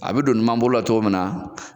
A bɛ don numan bolo la cogo min na.